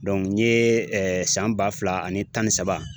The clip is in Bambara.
n ye san ba fila ani tan ni saba